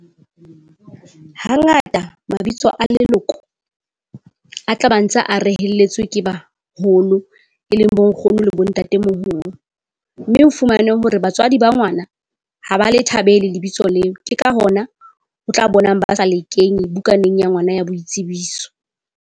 Hangata mabitso a leloko a tla ba ntse a reheletswe ke baholo, e leng bo nkgono le bo ntatemoholo. Mme o fumane hore batswadi ba ngwana ha ba le thabele lebitso leo. Ke ka hona o tla bonang ba sa le kenye bukaneng ya ngwana ya boitsebiso.